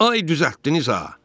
Ay düzəltdiniz ha!